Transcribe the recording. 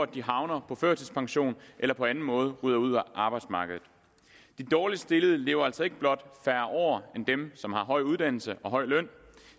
de havner på førtidspension eller på anden måde ryger ud af arbejdsmarkedet de dårligst stillede lever altså ikke blot færre år end dem som har høj uddannelse og høj løn